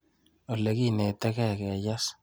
Olekineteke keyes.